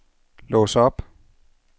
lås op